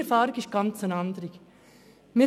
Meine Erfahrung sieht ganz anders aus.